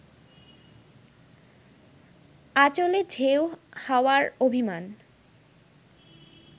আচলে ঢেউ হাওয়ার অভিমান